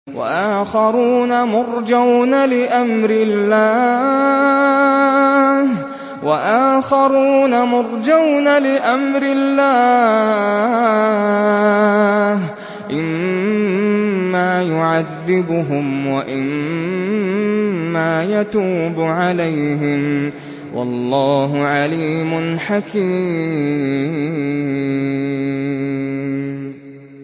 وَآخَرُونَ مُرْجَوْنَ لِأَمْرِ اللَّهِ إِمَّا يُعَذِّبُهُمْ وَإِمَّا يَتُوبُ عَلَيْهِمْ ۗ وَاللَّهُ عَلِيمٌ حَكِيمٌ